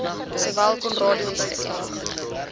sowel conradie hospitaal